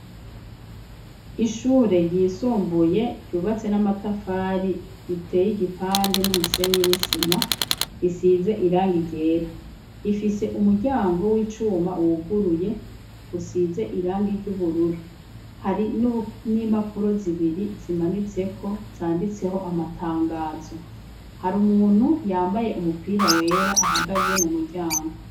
ishure ryisumbuye ryubatse n'amatafari riteye igipande n'umusenyi n'isima, risize irangi ryera, rifise umuryango w'icuma wuguruye usize irangi ry'ubururu , hari n'impapuro zibiri zimanitseko zanditseho amatangazo, hari umuntu yambaye umupira wera ahagaze mu muryango.